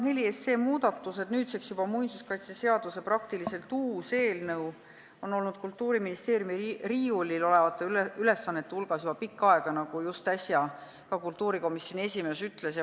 Muinsuskaitseseaduse muudatused, nüüdseks juba muinsuskaitseseaduse praktiliselt uus eelnõu, on olnud Kultuuriministeeriumi riiulil olevate ülesannete hulgas juba pikka aega, nagu just äsja ka kultuurikomisjoni esimees ütles.